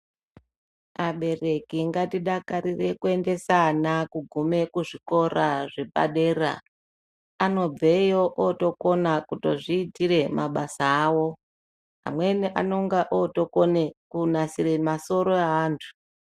Abereki ngatidakarire kuendese ana kugume kuzvikora zvepadera. Anobveyo otokona kutozviitire mabasa awo. Amweni anonga otokone kunasire masoro eantu.